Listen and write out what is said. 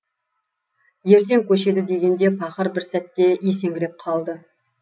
ертең көшеді дегенде пақыр бір сәтте есеңгіреп қалды